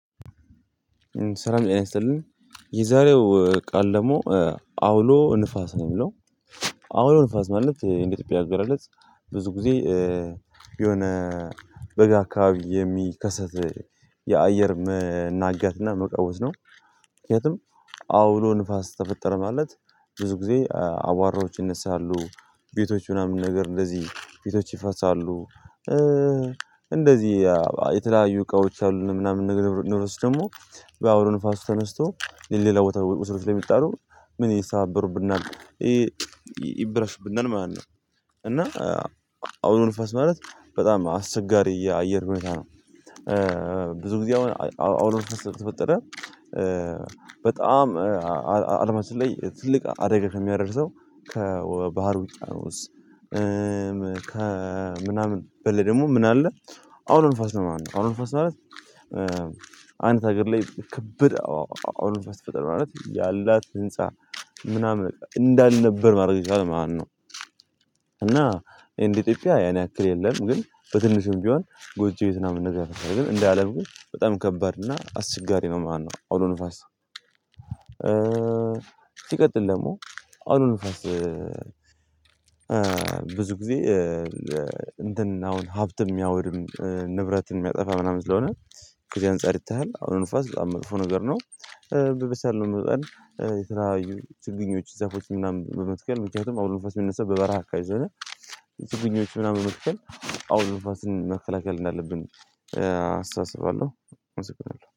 ስላም ጤና ይስጥልን። የዛሬው ቃል ደግሞ አውሎ ንፋስ ነው። የሚለው አውሎ ንፋስ ማለት ኢትዮጵያ አገላለጽ ብዙ ጊዜ የሆነ በጋ አካባቢ የሚከሰት የአየር መናጋትና መቃወስ ነው። ምክንያቱም አውሎ ንፋስ ተፈጠረ ማለት ብዙ ጊዜ አዋራዎች ይነሳሉ ቤቶች ምናምን ነገር እንደዚህ ቤቶች ይፈርሳሉ። እንደዚህ የተለያዩ እቃዎች አሉን ምናምን ነገርች ደግሞ በአውሎንፋስ ተነስቶ ለሌላ ቦታ ውስጥ ላይ የሚጠሉ ምን ይሰበሩብናል ይበላሽብናል ማለት ነው። እና አውሎ ንፋስ ማለት በጣም አስቸጋሪ የአየር ሁኔታ ነው። ብዙ ጊዜ አሁን አውሎ ንፋስ ተፈጠረ። በጣም አለማችን ላይ ትልቅ አደጋ ከሚያደርሰው ከባህር ውቅያኖስ። ከምናምን በለ ደግሞ ምን አለ አውሎ ንፋስ ነው ማለት ነው። አውሎ ንፋስ ማለት። አንዲት አገር ላይ ክብድ አዎ አውሎ ከተፈጠረ ማለት ያላት ህንፃ ምናምን እንዳልነበር ማድረግ ይቻላል ማለት ነው። እና እንደ ኢትዮጵያ ያን ያክል የለም። ግን በትንሹም ቢሆን ጎጂ ቤት ምናምን ነገር ነው ግን እንደ አለም ግን በጣም ይከብዳል እና አስቸጋሪ ነው። ማነው አውሎ ንፋስ? ሲቀጥል ደግሞ አውሎ ንፋስ። ብዙ ጊዜ እንትን አሁን ሀብትም የሚያወድም ንብረትን የሚያጠፋ ምናምን ስለሆነ ከዚህ አንፃር ይተሃል አውሎ ንፋስ በጣም መጥፎ ነገር ነው። በበሳል መቅደላ የተለያዩ ችግኞች ዛፎች ምናምን በመትከል ምክንያቱም አውሎ ንፋስ መነሳት በበረሃ አከባቢ ስለሆነ። የችግኞች ምናምን መትከል አውሎ ንፈስን መከላከል እንዳለብን አስታስባለሁ። አመሰግናሁ